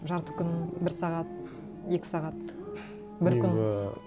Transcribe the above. жарты күн бір сағат екі сағат бір күн